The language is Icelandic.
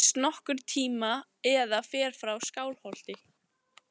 Hvort hún giftist nokkurn tíma eða fer frá Skálholti.